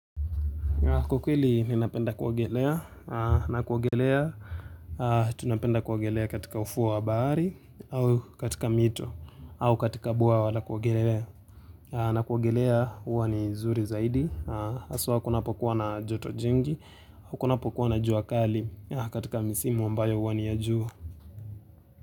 Kwa ukweli ninapenda kuwogelea na kuwogelea tunapenda kuwogelea katika ufuu wa baari au katika mito au katika bwawa la kuwogelea na kuwogelea uwa ni zuri zaidi haswa kunapokuwa na joto jingi au kunapokuwa na juakali katika misimu ambayo huwa ni ya jua.